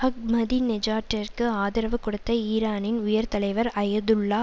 அஹ்மதிநெஜாட்டிற்கு ஆதரவு கொடுத்த ஈரானின் உயர் தலைவர் அயதுல்லா